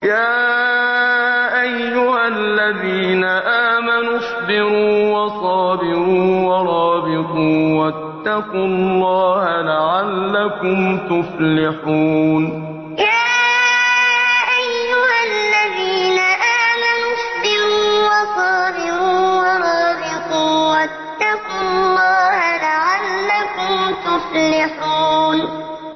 يَا أَيُّهَا الَّذِينَ آمَنُوا اصْبِرُوا وَصَابِرُوا وَرَابِطُوا وَاتَّقُوا اللَّهَ لَعَلَّكُمْ تُفْلِحُونَ يَا أَيُّهَا الَّذِينَ آمَنُوا اصْبِرُوا وَصَابِرُوا وَرَابِطُوا وَاتَّقُوا اللَّهَ لَعَلَّكُمْ تُفْلِحُونَ